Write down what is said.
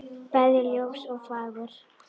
bæði ljós og fagur.